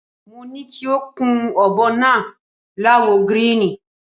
Mo ni kí o kun ò̩bo̩ náà láwo̩ gíríìnì.